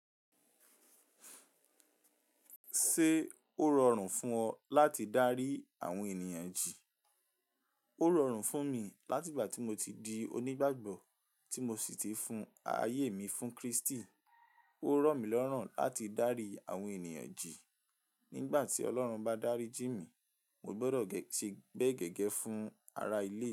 Ṣé ó rọrùn fún ọ láti dárí àwọn ènìyàn jì? Ó rọrùn fún mi láti ìgbà tí mo ti di onígbàgbọ́, tí mo sì ti fún ayé mi fún Kristi. Ó rọ̀ mí lọ́ràn láti dárí àwọn ènìyàn jì. Nígbà tí Ọlọ́run bá dárí jì mi, mo gbọdọ̀ ṣẹ bẹ gẹ́gẹ́ fún ara ilé.